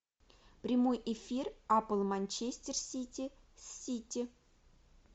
прямой эфир апл манчестер сити с сити